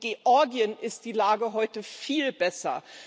In Georgien ist die Lage heute viel besser.